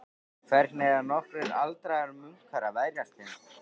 Hvernig eiga nokkrir aldraðir munkar að verjast þeim?